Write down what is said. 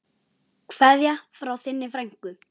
Kveðja frá þinni frænku.